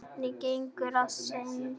Hvernig gengur að selja?